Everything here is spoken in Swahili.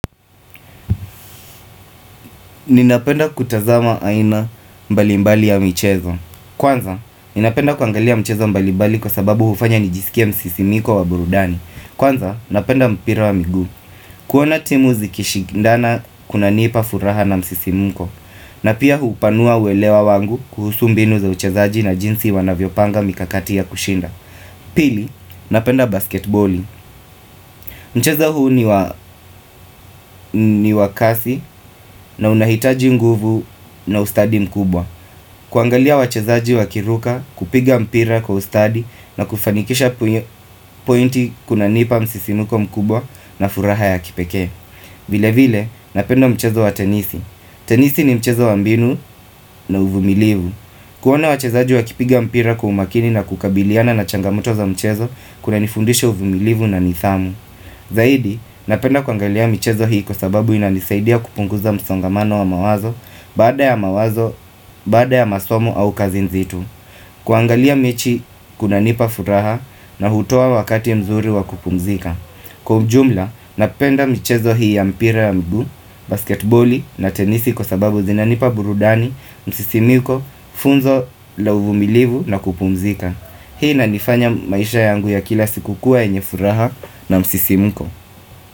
Ninapenda kutazama aina mbalimbali ya michezo. Kwanza, ninapenda kuangalia michezo mbalimbali kwa sababu hufanya nijisikia msisimiko wa burudani. Kwanza, napenda mpira wa miguu. Kuona timu zikishindana kuna nipa furaha na msisimuko. Na pia hupanua uelewa wangu kuhusu mbinu za uchezaji na jinsi wanavyo panga mikakati ya kushinda. Pili, napenda basket boli. Mchezo huu ni wakasi na unahitaji nguvu na ustadi mkubwa. Kuangalia wachezaji wakiruka, kupiga mpira kwa ustadi na kufanikisha pointi kuna nipa msisimuko mkubwa na furaha ya kipekee. Vile vile napenda mchezo wa tenisi Tenisi ni mchezo wa mbinu na uvumilivu kuona wachezaji wa kipiga mpira kwa umakini na kukabiliana na changamoto za mchezo Kuna nifundisha uvumilivu na nidhamu Zaidi napenda kuangalia michezo hii kwa sababu inanisaidia kupunguza msongamano wa mawazo Baada ya mawazo, baada ya masomo au kazi nzito kuangalia mechi kuna nipa furaha na hutoa wakati mzuri wa kupumzika Kwa ujumla, napenda michezo hii ya mpira ya mguu, basketboli na tenisi kwa sababu zinanipa burudani, msisimiko, funzo la uvumilivu na kupumzika. Hii inanifanya maisha yangu ya kila siku kuwa yenye furaha na msisimiko.